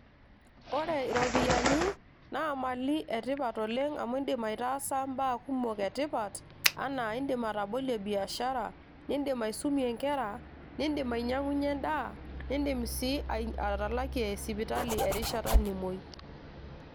ore iropiyiani naa imali etipat oleng amu indim aitaasa imbaa kumok etipat anaa indim atabolie biashara nindim aisumie inkera, nindim ainyiang'unyie endaa nindim sii atalakie sipitali erishata nimuoi.